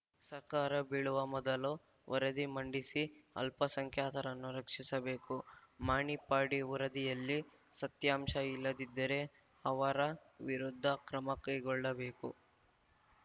ಸರ್ಕಾರ ಬೀಳುವ ಮೊದಲು ವರದಿ ಮಂಡಿಸಿ ಅಲ್ಪಸಂಖ್ಯಾತರನ್ನು ರಕ್ಷಿಸಬೇಕು ಮಾಣಿಪ್ಪಾಡಿ ವರದಿಯಲ್ಲಿ ಸತ್ಯಾಂಶ ಇಲ್ಲದಿದ್ದರೆ ಅವರ ವಿರುದ್ಧ ಕ್ರಮ ಕೈಗೊಳ್ಳಬೇಕು